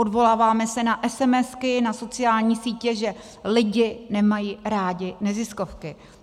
Odvoláváme se na esemesky, na sociální sítě, že lidi nemají rádi neziskovky.